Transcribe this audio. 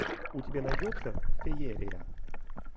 у тебя найдется феерия